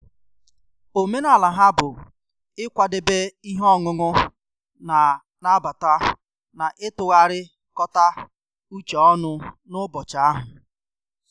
Omenala ha bụ ịkwadebe ihe ọṅụṅụ na-nabata na ịtụgharị kota uche ọnụ n'ụbọchị ahụ